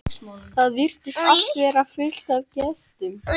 Það virtist allt vera fullt af gestum.